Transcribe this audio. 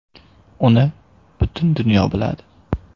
Uni butun dunyo biladi.